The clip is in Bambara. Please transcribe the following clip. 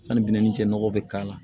Sanni binnin cɛ nɔgɔ bɛ k'a la